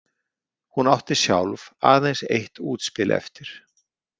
Hún átti sjálf aðeins eitt útspil eftir.